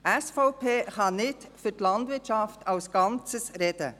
Die SVP kann nicht für die Landwirtschaft als Ganzes sprechen.